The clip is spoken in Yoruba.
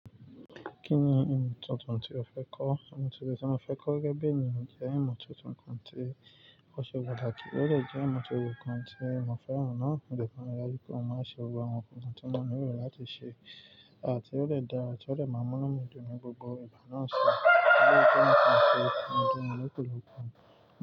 Kí ni oun tuntun tí o fẹ́ kọ́? Oun tuntun tí mo fẹ́ kọ́ gẹ́gẹ́ bí ènìyàn jẹ́ ìmọ́ tuntun kan tí ó ṣe pataki kí ó dè jẹ́ ìmọ́ tuntun kan tí mo fẹ́ràn náà. Òde pamọ́ yà kí ó má ṣe wo àwọn nǹkan tí wọ́n nílò láti ṣe àti ó lè dára tí ó lè máa múnáà dúró ní gbogbo ìgbà náà ṣe. Kí ló jẹ́ nǹkan tí ó ń dùn ọ lọ́pọ̀lọpọ̀?